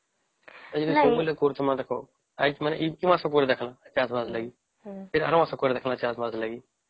ଦେଖ ଏଇଠି ମାସ ପରେ କରିକି ଦେଖିଲା ଚାଷ ବାସ ଲାଗି ଆର ମାସରେ କରିକି ଦେଖିଲା ଚାଷ ବାସ ର ଲାଗି